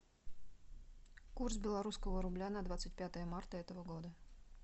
курс белорусского рубля на двадцать пятое марта этого года